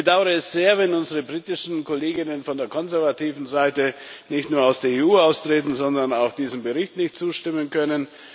Ich bedauere es sehr, wenn unsere britischen Kollegen von der konservativen Seite nicht nur aus der EU austreten, sondern auch diesem Bericht nicht zustimmen können.